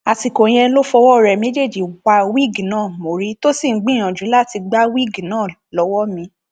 àsìkò yẹn ló fọwọ rẹ méjèèjì wá wíìgì náà mọrí tó sì ń gbìyànjú láti gbá wíìgì náà lọwọ mi